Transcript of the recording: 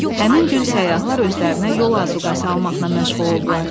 Həmin gün səyyahlar özlərinə yol azuqəsi almaqla məşğul oldular.